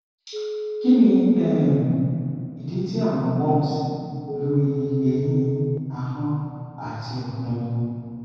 kini um idi ti awọn bumps lori ẹhin ahọn ati ọfun